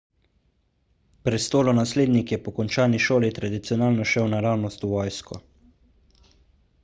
prestolonaslednik je po končani šoli tradicionalno šel naravnost v vojsko